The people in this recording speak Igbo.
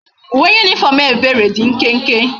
Uwe uniform ebere di nkenke